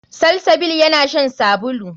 Salsabil yana shan sabulu.